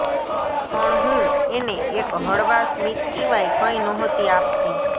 પણ હું એને એક હળવા સ્મિત સિવાય કંઈ નહોતી આપતી